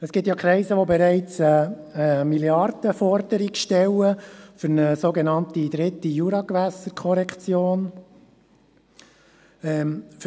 Es gibt ja Kreise, die bereits eine Milliardenforderung für eine sogenannte dritte Juragewässerkorrektion stellen.